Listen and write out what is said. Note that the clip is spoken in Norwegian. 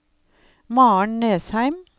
Maren Nesheim